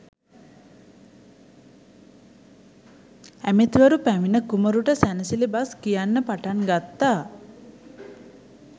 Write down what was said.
ඇමතිවරු පැමිණ කුමරුට සැනසිලි බස් කියන්න පටන් ගත්තා.